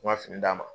N ka fini d'a ma